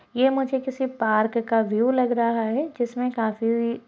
ये मुझे किसी पार्क का व्यू लग रहा है जिसमें काफी--